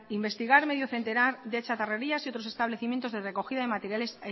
investigar medio centenar de chatarrerías y otros establecimientos de recogida de materiales